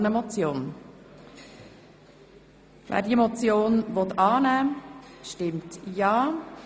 Wer sie annehmen will, stimmt ja, wer sie ablehnt, stimmt nein.